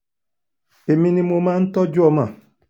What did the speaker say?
èmi ni mo máa ń tọ́jú ọmọ